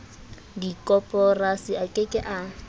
dikoporasi a ke ke a